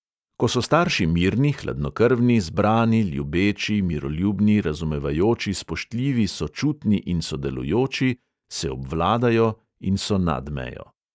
Ko so starši mirni, hladnokrvni, zbrani, ljubeči, miroljubni, razumevajoči, spoštljivi, sočutni in sodelujoči, se obvladajo in so nad mejo.